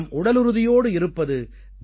நாம் உடலுறுதியோடு இருப்பது